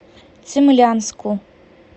цимлянску